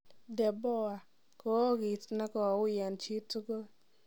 De Boer: kookiit negouui en chiitugul.